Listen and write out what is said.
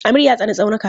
Amir ya tsani tsaunuka.